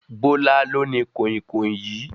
Bola lo ní koinkoin yìí